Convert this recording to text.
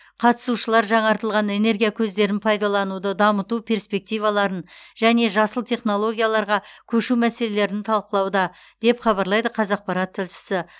қатысушылар жаңартылатын энергия көздерін пайдалануды дамыту перспективаларын және жасыл технологияларға көшу мәселелерін талқылауда деп хабарлайды қазақпарат тілшісі